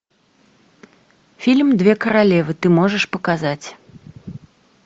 фильм две королевы ты можешь показать